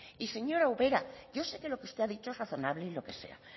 y señora ubera yo sé que lo que usted ha dicho es razonable y lo que sea